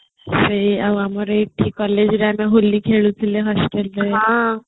ସେଇ ଆମର ଏଠି collegeରେ ଆମେ ହୋଲି ଖେଳୁଥିଲେ hostel